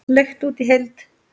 Leigt út í heild?